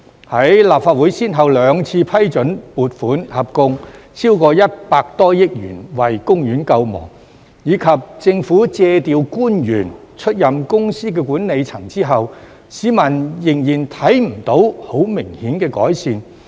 在立法會先後兩次批准撥款合共超過100多億元為公園救亡，以及政府借調官員出任公司的管理層後，市民仍然未能看到很明顯的改善。